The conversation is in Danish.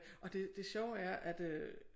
Og det det sjove er at øh